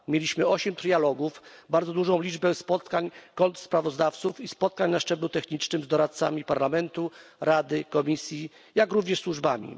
Przeprowadziliśmy osiem trialogów, bardzo dużą liczbę spotkań kontrsprawozdawców i spotkań na szczeblu technicznym z doradcami Parlamentu Rady i Komisji, jak również ze służbami.